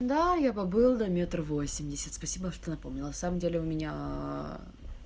да я побыл на метр восемьдесят спасибо что напомнила на самом деле у меня